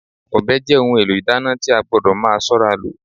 Ọbẹ̀ jẹ́ ohun èlò ìdáná tí a gbọdọ̀ máa ṣọ́ra lò